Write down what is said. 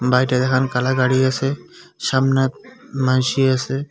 দেহেন কলার গাড়ি আছে সামনে মানসে আছে।